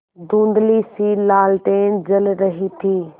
धुँधलीसी लालटेन जल रही थी